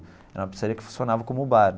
Era uma pizzaria que funcionava como um bar.